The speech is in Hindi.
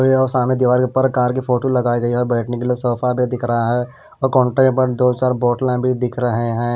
सामने दीवाल के ऊपर कार की फोटो लगाई गई हैऔर बैठने के लिए सोफा भी दिख रहा है और कॉन्ट्रे पर दो चार बोतलें भी दिख रहे हैं।